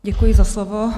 Děkuji za slovo.